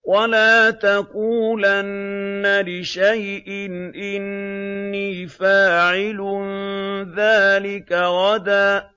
وَلَا تَقُولَنَّ لِشَيْءٍ إِنِّي فَاعِلٌ ذَٰلِكَ غَدًا